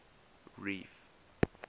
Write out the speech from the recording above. reef